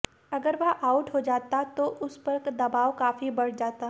अगर वह आउट हो जाता तो उस पर दबाव काफी बढ़ जाता